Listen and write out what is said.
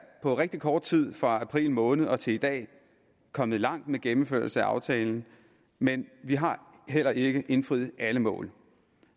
på rigtig kort tid fra april måned og til i dag kommet langt med gennemførelse af aftalen men vi har heller ikke indfriet alle mål